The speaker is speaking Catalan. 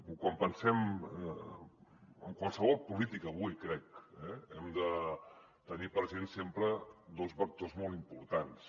o quan pensem en qualsevol política avui crec hem de tenir present sempre dos vectors molt importants